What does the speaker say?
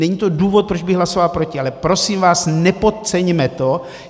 Není to důvod, proč bych hlasoval proti, ale prosím vás, nepodceňme to.